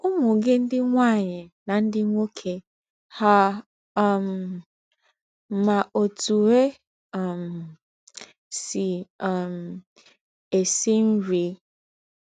Ụmụ gị ndị nwaanyị na ndị nwoke hà um ma otú e um sị um esi nri?